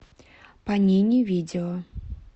панини видео